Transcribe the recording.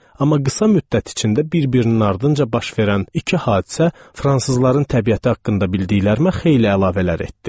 Amma qısa müddət içində bir-birinin ardınca baş verən iki hadisə fransızların təbiəti haqqında bildiklərimə xeyli əlavələr etdi.